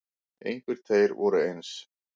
Engir tveir voru eins.